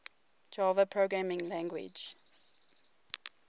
java programming language